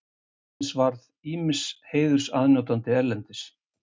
Hannes varð ýmiss heiðurs aðnjótandi erlendis.